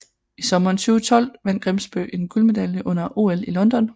I sommeren 2012 vandt Grimsbø en guldmedalje under OL i London